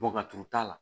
Bɔn ka turu t'a la